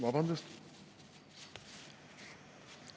Vabandust!